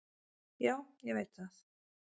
"""Já, ég veit það."""